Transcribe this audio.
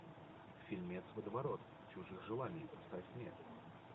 фильмец водоворот чужих желаний поставь мне